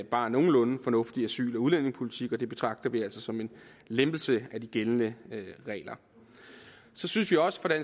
bare nogenlunde fornuftig asyl og udlændingepolitik og det betragter vi altså som en lempelse af de gældende regler så synes vi også